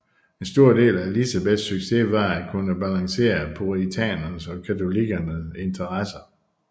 En stor del af Elizabeths succes var at kunne balancere puritanernes og katolikkerne interesser